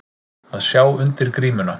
Að sjá undir grímuna